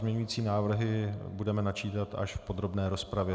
Pozměňující návrhy budeme načítat až v podrobné rozpravě.